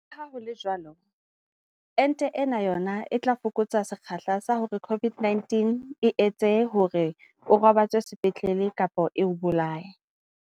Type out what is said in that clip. Leha ho le jwalo, ente ena yona e tla fokotsa sekgahla sa hore COVID-19 e etse hore o robatswe sepetlele kapa e o bolaye.